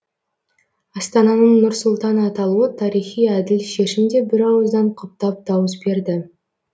астананың нұр сұлтан аталуы тарихи әділ шешім деп бірауыздан құптап дауыс берді